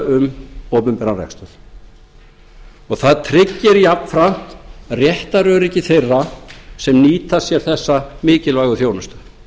um opinberan rekstur það tryggir jafnframt réttaröryggi þeirra sem nýta sér þessa mikilvægu þjónustu